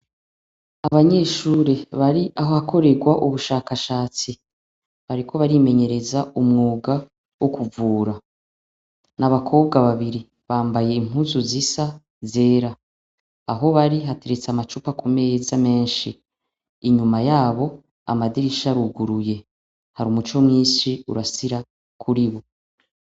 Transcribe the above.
Abanyeshure bari aho akorerwa ubushakashatsi bariko barimenyereza umwuga wo kuvura n' abakobwa babiri bambaye impuzu zisa zera aho bari hateretse amacupa ku meza menshi inyuma yabo amadirisha aruguruye hari umuco mwinshi urasira kuri bo.